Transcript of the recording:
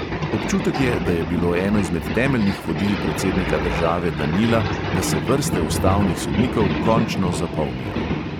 Občutek je, da je bilo eno izmed temeljnih vodil predsednika države danila, da se vrste ustavnih sodnikov končno zapolnijo.